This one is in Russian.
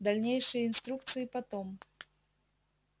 дальнейшие инструкции потом